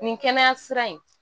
Nin kɛnɛya sira in